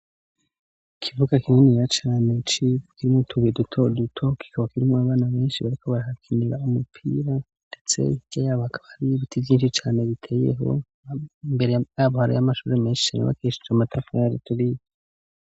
Ikibuga kininiya cane civu nutubuye duto duto kikaba kirimwo abana benshi bariko barakina umupira ndetse Hakaba hari Ibiti vyinshi biteyeho .mbere Hakaba hari amashure menshi yubakishije amatafari aturiye.